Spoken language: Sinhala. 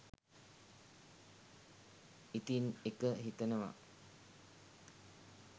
ඉතින්එක හිතනවා